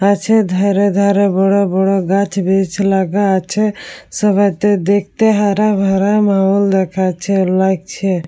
গাছের ধারে ধারে বড় বড় গাছ বেশ লাগা আছে সবাইতে দেখতে হারা ভরা মহল দেখাচ্ছে লাগছে।